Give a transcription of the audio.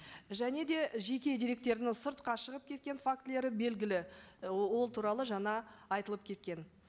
және де жеке деректердің сыртқа шығып кеткен фактілері белгілі і ол туралы жаңа айтылып кеткен